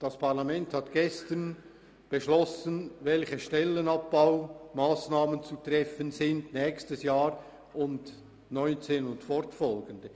Das Parlament hat gestern beschlossen, welche Stellenabbaumassnahmen im nächsten und in den folgenden Jahren zu treffen sind.